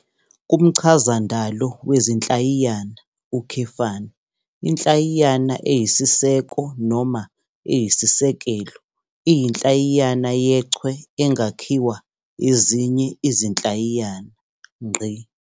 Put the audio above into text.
KumChazandalo wezinhlayiyana, inhlayiyana eyisiseko noma eyisisekelo iyinhlayiyana yechwe engakhiwa ezinye izinhlayiyana.